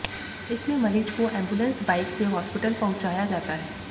इसमें मरीज को एम्बुलेंस बाइक से हॉस्पिटल पहुंचाया जाता है